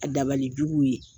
A dabali juguw ye.